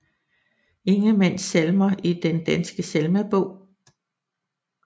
Ingemann Salmer i Den Danske Salmebog